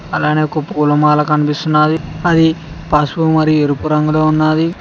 అలానే ఒక పూలమాల కనిపిస్తున్నది అది పసుపు ఎరుపు రంగులో ఉన్నది.